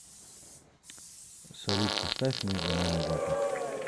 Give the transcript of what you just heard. салют поставь между нами вата